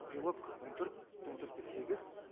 белок он төрт он төрт те сегіз